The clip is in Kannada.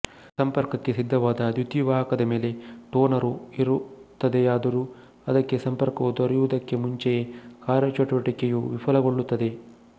ಸಂಪರ್ಕಕ್ಕೆ ಸಿದ್ಧವಾದ ದ್ಯುತಿವಾಹಕದ ಮೇಲೆ ಟೋನರು ಇರುತ್ತದೆಯಾದರೂ ಅದಕ್ಕೆ ಸಂಪರ್ಕವು ದೊರೆಯುವುದಕ್ಕೆ ಮುಂಚೆಯೇ ಕಾರ್ಯಚಟುವಟಿಕೆಯು ವಿಫಲಗೊಳ್ಳುತ್ತದೆ